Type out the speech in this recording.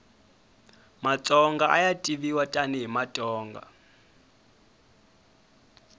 matsonga aya tiviwa tani hi matonga